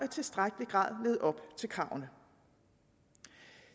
tilstrækkelig grad levede op til kravene